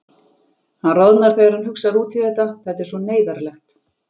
Hann roðnar þegar hann hugsar út í þetta, þetta er svo neyðarlegt.